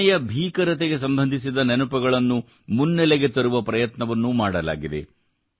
ವಿಭಜನೆಯ ಭೀಕರತೆಗೆ ಸಂಬಂಧಿಸಿದ ನೆನಪುಗಳನ್ನು ಮುನ್ನೆಲೆಗೆ ತರುವ ಪ್ರಯತ್ನವನ್ನೂ ಮಾಡಲಾಗಿದೆ